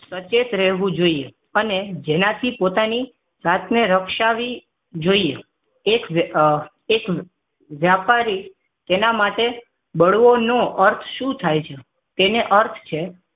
સચેત રહેવું જોઈએ અને જેના થી પોતાની જાતને રક્ષાવી જોઈએ એક વેપારી એક એક વેપારી તેના માટે બળવો નો અર્થ શું થાય છે તેનો અર્થ છે